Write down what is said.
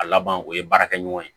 A laban o ye baarakɛ ɲɔgɔn ye